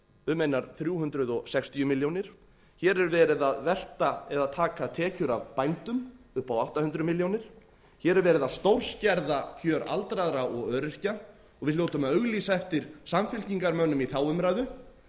um einar þrjú hundruð sextíu milljónir hér er verið að velta eða taka tekjur af bændum upp á átta hundruð milljónir hér er verið að stórskerða kjör aldraðra og öryrkja og við hljótum að auglýsa eftir samfylkingarmönnum í þá umræðu